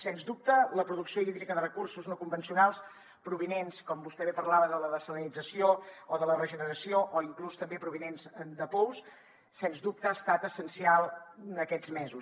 sens dubte la producció hídrica de recursos no convencionals provinents com vostè bé parlava de la dessalinització o de la regeneració o inclús també provinents de pous sens dubte ha estat essencial en aquests mesos